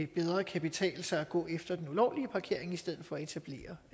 bedre kan betale sig at gå efter den ulovlige parkering i stedet for at etablere